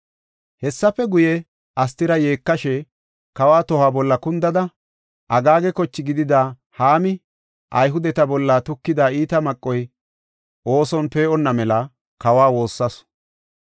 Hessafe guye, Astira yeekashe, kawa toho bolla kundada, Agaaga koche gidida Haami Ayhudeta bolla tukida iita maqoy ooson pee7onna mela kawa woossasu.